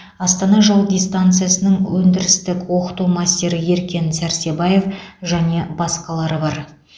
астана жол дистанциясының өндірістік оқыту мастері еркен сәрсебаев және басқалары бар